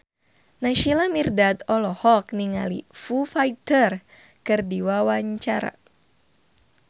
Naysila Mirdad olohok ningali Foo Fighter keur diwawancara